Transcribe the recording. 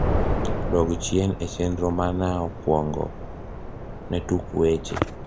dog chien e chenro manaokuongo ne tuk weche